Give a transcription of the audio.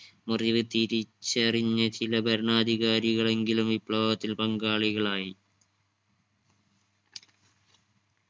മുറിവ് തിരിച്ചറിഞ്ഞ് ചില ഭരണാധികാരികളെങ്കിലും വിപ്ലവത്തിൽ പങ്കാളികളായി